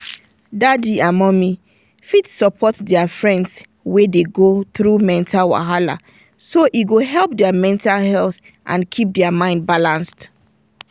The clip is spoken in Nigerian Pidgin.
dadi and mumi fit support their friends wey dey go through mental wahala so e go help their mental health and keep their mind balanced.